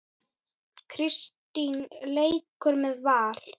Kristín leikur með Val.